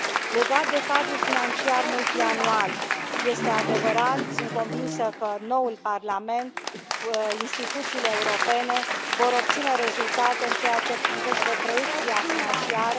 Legat de cadrul financiar multianual, este adevărat, sunt convinsă că noul Parlament, că instituțiile europene vor obține rezultate în ceea ce privește proiecția financiară.